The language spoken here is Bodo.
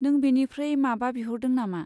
नों बेनिफ्राय माबा बिहरदों नामा?